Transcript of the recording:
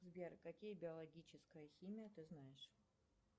сбер какие биологическая химия ты знаешь